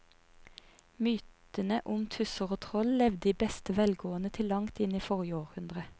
Mytene om tusser og troll levde i beste velgående til langt inn i forrige århundre.